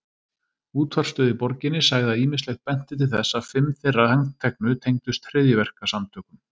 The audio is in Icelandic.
Útvarpsstöð í borginni sagði að ýmislegt benti til þess að fimm þeirra handteknu tengdust hryðjuverkasamtökum.